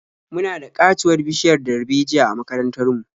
Muna da ƙatuwar bishiyar darbejiya a makarantar mu.